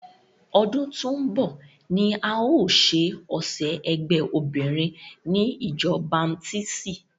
Ọdún tó ń bọ̀ ni a o ṣe ọ̀sẹ̀ ẹgbé obinrin ni ìjọ baptisti.